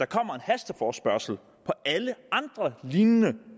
kommer hasteforespørgsler på alle andre lignende